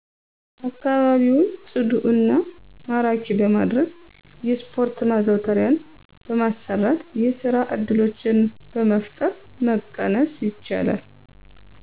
አከባቢውን ጵዱ እና ማራኪ በማድረግ የስፖርት ማዘውተሪያን በማሰራት፣ የስራ እድሎችን በመፍጠር መቀነስ ይቻላል።